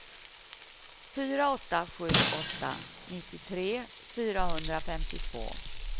fyra åtta sju åtta nittiotre fyrahundrafemtiotvå